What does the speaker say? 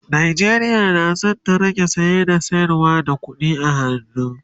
Najeriya na San ta rage saye da sayarwa da ƙuɗi a hannu